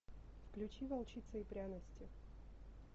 включи волчица и пряности